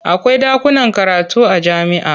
Akwai ɗakunan karatu a jami'a.